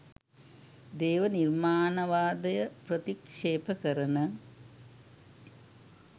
දේව නිර්මාණවාදය ප්‍රතික්ෂේප කරන